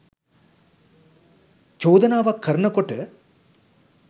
චෝදනාවක් කරන කොට